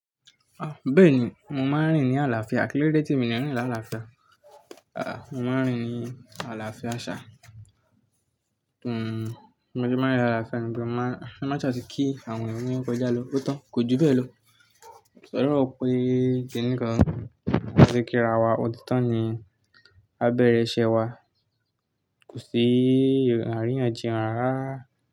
Bẹ́ẹ̀ni, mo máa ń rìn ní àlàáfíà. Kíló dé tí mi ní rìn ní àlàáfíà? Mo máa ń rìn ní àlàáfíà ṣa. Mo ti máa ń rìn ní àlàáfíà nígbà tí mo bá ti kí àwọn ènìyàn to ba n kọ̀ja lọ́, o tan kò ju bẹ́ẹ̀ ló. Ko sọ̀rọ̀ pé kìíní kan ṣe kí ra wa, ọdún tó ń bọ̀ ni á bẹ̀rẹ̀ iṣẹ́ wa, kò sí àríyànjiyàn rara.